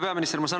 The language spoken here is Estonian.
Hea peaminister!